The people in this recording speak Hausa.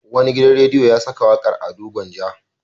Wani gidan rediyo ya saka wakar Ado Gwanja.